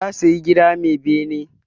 Ta saya gida mai bene.